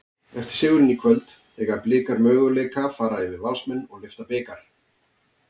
Eftir sigurinn í kvöld, eiga Blikar möguleika fara yfir Valsmenn og lyfta bikar?